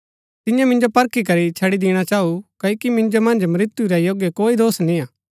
तिन्ये मिन्जो परखी करी छड़ी दिणा चाऊ क्ओकि मिन्जो मन्ज मृत्यु रै योग्य कोई दोष निय्आ